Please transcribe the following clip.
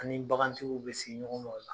An' ni bagantigiw bɛ se ɲɔgɔn ma o la.